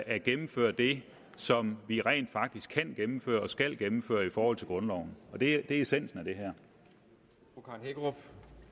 at gennemføre det som vi rent faktisk kan gennemføre og skal gennemføre i forhold til grundloven og det er essensen af det her